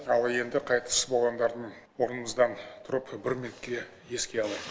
ал енді қайтыс болғандардың орнымыздан тұрып бір минутке еске алайық